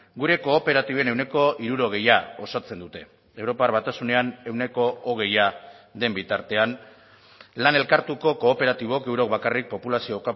gure kooperatiben ehuneko hirurogeia osatzen dute europar batasunean ehuneko hogeia den bitartean lan elkartuko kooperatibok eurok bakarrik populazio